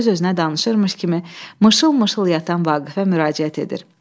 Öz-özünə danışırmış kimi mışıl-mışıl yatan Vaqifə müraciət edir.